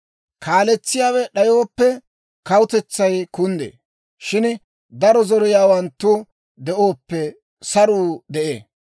Kaaletsiyaawe d'ayooppe, kawutetsay kunddee; shin daro zoriyaawanttu de'ooppe, saruu de'ee.